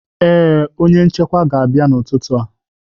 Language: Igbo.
Ee, onye nchekwa ga-abịa n'ụtụtụ a.